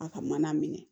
A ka mana minɛ